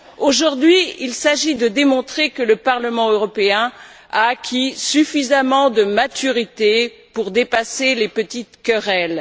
Aujourd'hui, il s'agit de démontrer que le Parlement européen a acquis suffisamment de maturité pour dépasser les petites querelles.